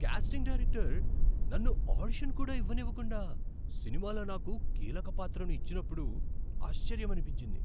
Casting director నన్ను audition కూడా ఇవ్వనివ్వకుండా, సినిమాలో నాకు కీలక పాత్రను ఇచ్చినప్పుడు ఆశ్చర్యమనిపించింది.